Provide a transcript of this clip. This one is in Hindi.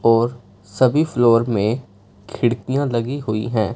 और सभी फ्लोर में खिड़कियां लगी हुई हैं।